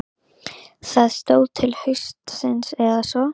Það stóð til haustsins eða svo.